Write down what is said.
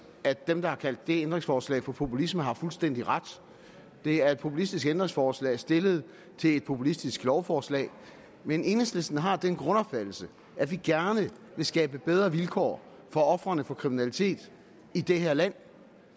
at dem der har kaldt det ændringsforslag for populisme har fuldstændig ret det er et populistisk ændringsforslag stillet til et populistisk lovforslag men enhedslisten har den grundopfattelse at vi gerne vil skabe bedre vilkår for ofrene for kriminalitet i det her land